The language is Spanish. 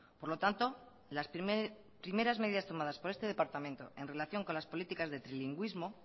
por lo tanto las primeras medidas tomadas por este departamento en relación con las políticas de trilingüísmo